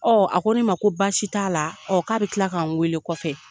a ko ne ma ko basi t'a la , k'a bɛ kila k'an wele kɔfɛ.